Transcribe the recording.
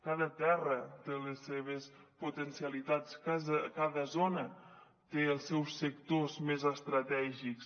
cada terra té les seves potencialitats cada zona té els seus sectors més estratègics